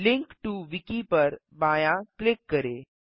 link to Wiki पर बायाँ click करें